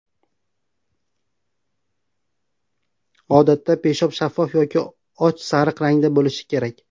Odatda peshob shaffof yoki och sariq rangda bo‘lishi kerak.